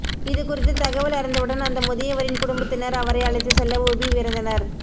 இதுகுறித்து தகவல் அறிந்தவுடன் அந்த முதியவரின் குடும்பத்தினர் அவரை அழைத்து செல்ல உபி விரைந்தனர்